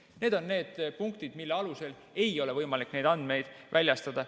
Need on need punktid, mille alusel ei ole võimalik neid andmeid väljastada.